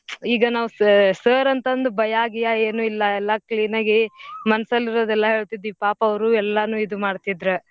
ಈಗ ನಾವ್ sa~ sir ಅಂತಂದ್ ಭಯಾಗಿಯಾ ಏನೂ ಇಲ್ಲಾ ಎಲ್ಲಾ clean ಆಗಿ ಮನ್ಸಲ್ಲಿರೋದೆಲ್ಲಾ ಹೇಳ್ತಿದ್ವಿ ಪಾಪ ಅವ್ರು ಎಲ್ಲಾನೂ ಇದು ಮಾಡ್ತಿದ್ರ.